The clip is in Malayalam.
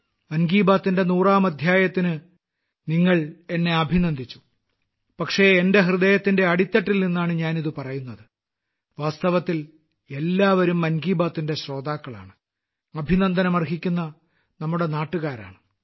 മൻ കി ബാത്തിന്റെ 100ാം അദ്ധ്യായത്തിന് നിങ്ങൾ എന്നെ അഭിനന്ദിച്ചു പക്ഷേ എന്റെ ഹൃദയത്തിന്റെ അടിത്തട്ടിൽ നിന്നാണ് ഞാൻ ഇത് പറയുന്നത് വാസ്തവത്തിൽ നിങ്ങളെല്ലാവരും മൻ കി ബാത്തിന്റെ ശ്രോതാക്കളാണ് അഭിനന്ദനം അർഹിക്കുന്ന നമ്മുടെ നാട്ടുകാരാണ്